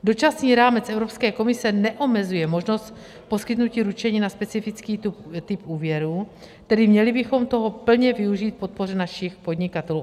Dočasný rámec Evropské komise neomezuje možnost poskytnutí ručení na specifický typ úvěru, tedy měli bychom toho plně využít k podpoře našich podnikatelů.